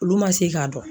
Olu ma se k'a dɔn